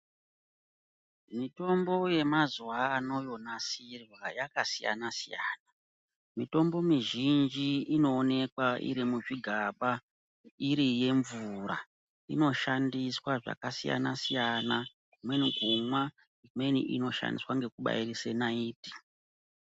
Mitombo yemazuva ano yonasirwa yakasiyana siyana Mititombo mizhinji iri kuonekwa iri muzvigaba iri yemvura Inoshandiswa zvakasiyana siyana Kumweni kumwa imweni inoshandiswa nekubairiza naiti.